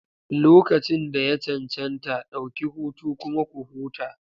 Lokacin da ya cancanta, ɗauki hutu kuma ku huta.